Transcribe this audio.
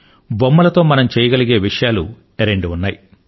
బొమ్మల తో మనం చేయగలిగే విషయాలు రెండు ఉన్నాయి